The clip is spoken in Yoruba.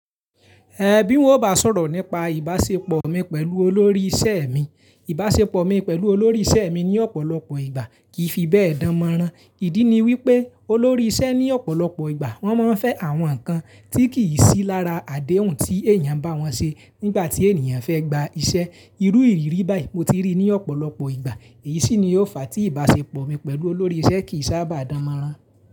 Ẹ̀ bí wọn ò bá sọ̀rọ̀ nípa ìbáṣepọ̀ mi pẹ̀lú olórí iṣẹ́ mi, ìbáṣepọ̀ mi pẹ̀lú olórí iṣẹ́ mi ní ọ̀pọ̀lọpọ̀ ìgbà kì í fi bẹ́ẹ̀ dán mọ́rán. Ìdí ni wípé olórí iṣẹ́ ní ọ̀pọ̀lọpọ̀ ìgbà wón máa ń fẹ́ àwọn ǹkan tí kì í sí lára àdéhùn tí èèyàn bá wọn ṣe nígbà tí èèyàn fẹ́ gba iṣẹ́. Irú ìrírí báyìí mo ti rí ní ọ̀pọ̀lọpọ̀ ìgbà èyí sì ni ó fa tí ìbáṣepọ̀ mi pẹ̀lú olórí iṣẹ́ kì í sábà dán mọ́rán.